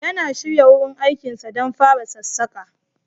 Yana shirya wurin aikinsa don fara sassaƙa.